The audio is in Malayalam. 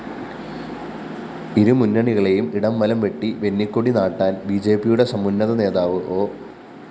ഇരുമുന്നണികളെയും ഇടംവലം വെട്ടി വെന്നിക്കൊടി നാട്ടാന്‍ ബിജെപിയുടെ സമുന്നതനേതാവ് ഒ